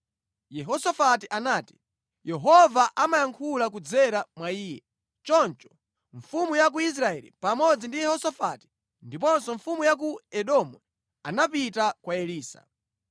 Yehosafati anati, “Yehova amayankhula kudzera mwa iye.” Choncho mfumu ya ku Israeli pamodzi ndi Yehosafati ndiponso mfumu ya ku Edomu anapita kwa Elisa.